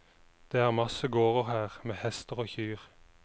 Det er masse gårder her, med hester og kyr.